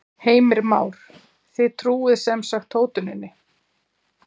Heimir Már: Þið trúið sem sagt hótuninni?